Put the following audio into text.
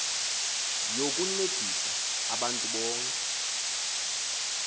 yokuncedisa abantu bonke